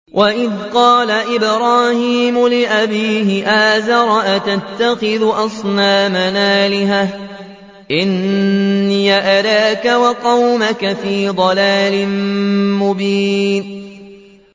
۞ وَإِذْ قَالَ إِبْرَاهِيمُ لِأَبِيهِ آزَرَ أَتَتَّخِذُ أَصْنَامًا آلِهَةً ۖ إِنِّي أَرَاكَ وَقَوْمَكَ فِي ضَلَالٍ مُّبِينٍ